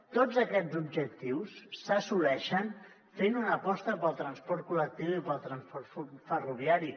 tots aquests objectius s’assoleixen fent una aposta pel transport col·lectiu i pel transport ferroviari